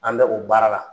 An bɛ o baara la